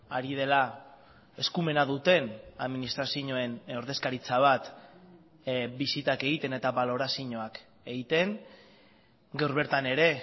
ari dela eskumena duten administrazioen ordezkaritza bat bisitak egiten eta balorazioak egiten gaur bertan ere